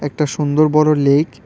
একটা সুন্দর বড়ো লেক ।